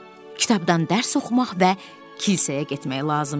Kitabdan dərs oxumaq və kilsəyə getmək lazım idi.